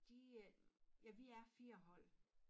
De øh ja vi er 4 hold